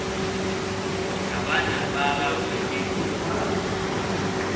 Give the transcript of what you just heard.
ka bana ba gagwe le